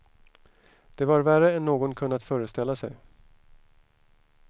Det var värre än någon kunnat föreställa sig.